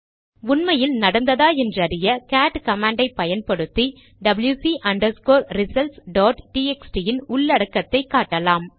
உண்மையில் நடந்ததா என்றறிய கேட் கமாண்டை பயன்படுத்தி டபில்யுசி ரிசல்ட்ஸ் டாட் டிஎக்ஸ்டி இன் உள்ளடக்கத்தை காட்டலாம்